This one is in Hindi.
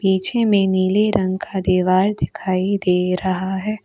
पीछे में नीले रंग का दीवार दिखाई दे रहा है।